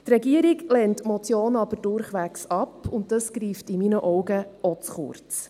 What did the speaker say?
Die Regierung lehnt die Motion aber durchwegs ab, und das greift meiner Meinung nach auch zu kurz.